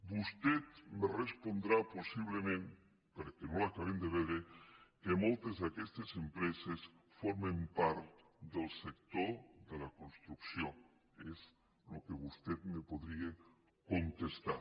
vostè me respondrà possiblement perquè no l’acabem de veure que moltes d’aquestes empreses formen part del sector de la construcció és el que vostè em podria contestar